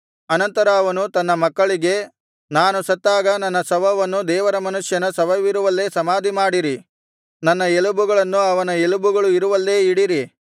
ಅನಂತರ ಅವನು ತನ್ನ ಮಕ್ಕಳಿಗೆ ನಾನು ಸತ್ತಾಗ ನನ್ನ ಶವವನ್ನು ದೇವರ ಮನುಷ್ಯನ ಶವವಿರುವಲ್ಲೇ ಸಮಾಧಿಮಾಡಿರಿ ನನ್ನ ಎಲುಬುಗಳನ್ನು ಅವನ ಎಲುಬುಗಳು ಇರುವಲ್ಲೇ ಇಡಿರಿ